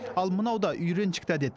ал мынау да үйреншікті әдет